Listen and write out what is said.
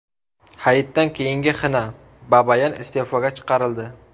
Hayitdan keyingi xina: Babayan iste’foga chiqarildi .